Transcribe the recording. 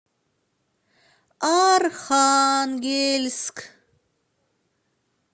архангельск